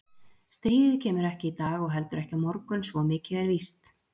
Stríðið kemur ekki í dag og heldur ekki á morgun svo mikið er víst.